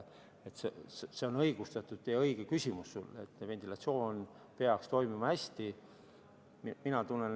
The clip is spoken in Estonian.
See on sul õigustatud ja õige küsimus, ventilatsioon peaks hästi toimima.